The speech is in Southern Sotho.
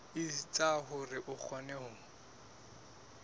etsa hore o kgone ho